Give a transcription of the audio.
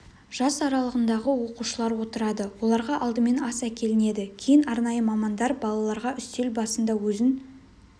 жас аралығындағы оқушылар отырады оларға алдымен ас әкелінеді кейін арнайы мамандар балаларға үстел басында өзін